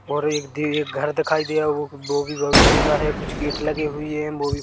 और एक दि एक घर दिखाई देरा वो बी वो भी बहुत सुंदर है कुछ गेट लगी हुई है वो बी--